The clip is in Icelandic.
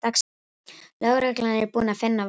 Lögreglan er búin að finna vopnið